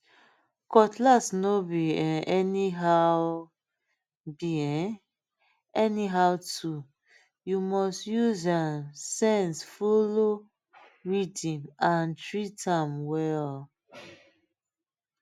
cutlass no be um anyhow be um anyhow toolyou must use um sense follow rhythm and treat um am well